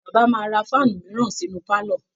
Bàbá máa ra fáànù míràn sínú pálọ̀